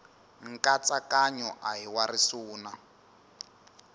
nkatsakanyo a hi wa risuna